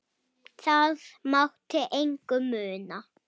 Það mátti engu muna.